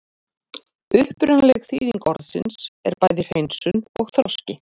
Upprunaleg þýðing orðsins er bæði hreinsun og þroski.